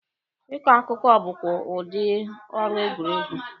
Ị kọ akụkọ bụkwa udi ọrụ egwuregwu.